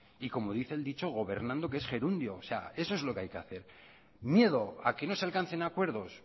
y como dice el dicho gobernando que es gerundio eso es lo que hay que hacer miedo a que no se alcancen acuerdos